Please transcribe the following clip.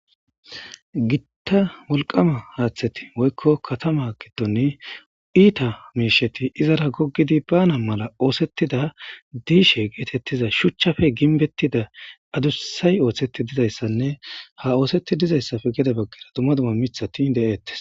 Gitta wolqama haaththeti woykko katama giddon iita miishsheti izara goggidi bana mala ooththetida diishe geetettiza shuchchappe gimbbetida diza adussay ooththeti dizayssanne ha ooththetidi dizayssappe heni baggera dumma dumma miththati de'etes.